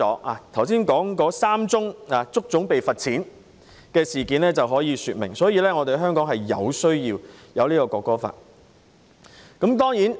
我剛才提及的3宗足總被罰款的事件可以說明，香港有需要落實《條例草案》。